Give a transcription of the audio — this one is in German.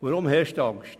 Warum herrscht Angst?